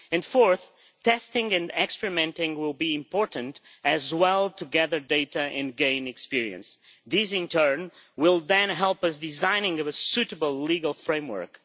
Fourth, testing and experimenting will be important as will gathering data and gaining experience. This in turn will then help us with designing a suitable legal framework.